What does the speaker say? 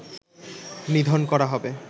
নিধন করা হবে